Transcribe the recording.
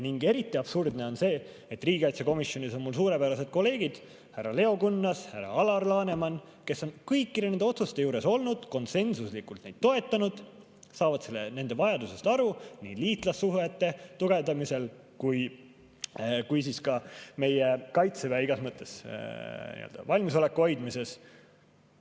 Eriti absurdne on see, et riigikaitsekomisjonis on mul suurepärased kolleegid – härra Leo Kunnas, härra Alar Laneman –, kes on kõikide nende otsuste juures olnud, konsensuslikult neid toetanud, saavad aru nende vajadusest nii liitlassuhete tugevdamisel kui ka meie Kaitseväe igas mõttes valmisoleku hoidmisel.